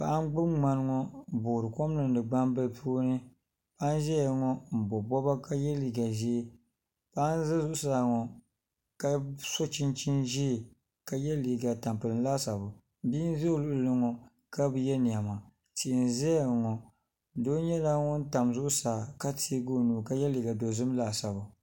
Paɣa n gbubi ŋmani ŋo n boori kom niŋdi gbambili puuni paɣa n ʒɛya ŋo n bob bobga ka yɛ liiga ʒiɛ paɣa n ʒɛ zuɣusaa ŋo ka so chinchin ʒiɛ ka yɛ liiga tampilim laasabu bia n ʒɛ o luɣuli ni ŋo ka bi yɛ niɛma tia n ʒɛya ŋo doo nyɛla ŋun ʒɛ zuɣusaa ka tiɛgi o nuu ka yɛ liiga dozim laasabu